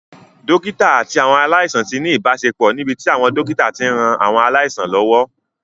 Dókítà àti àwọn aláìsàn ti ní ìbáṣepọ̀ níbi tí àwọn dókítà ti ń ran àwọn aláìsàn lọ́wọ́